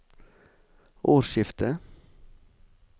årsskiftet